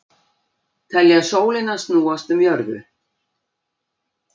Telja sólina snúast um jörðu